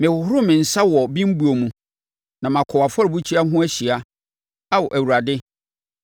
Mehohoro me nsa wɔ bembuo mu, na makɔ wʼafɔrebukyia ho ahyia, Ao Awurade,